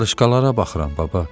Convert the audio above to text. Qarışqalara baxıram, baba.